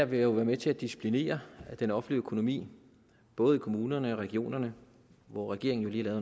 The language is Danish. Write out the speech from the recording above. være med til at disciplinere den offentlige økonomi både i kommunerne og i regionerne hvor regeringen jo lige har